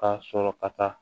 K'a sɔrɔ ka taa